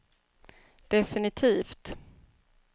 definitivt